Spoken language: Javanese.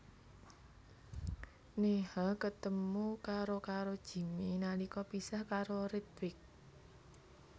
Neha ketemu karo karo Jimmy nalika pisah karo Ritwik